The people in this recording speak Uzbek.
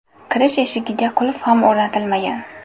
Kirish eshigiga qulf ham o‘rnatilmagan.